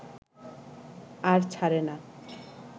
আর ছারে না